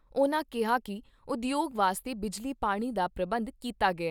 ਉਨ੍ਹਾਂ ਕਿਹਾ ਕਿ ਉਦਯੋਗ ਵਾਸਤੇ ਬਿਜਲੀ ਪਾਣੀ ਦਾ ਪ੍ਰਬੰਧ ਕੀਤਾ ਗਿਆ ।